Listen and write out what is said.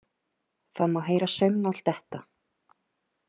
Það má heyra saumnál detta.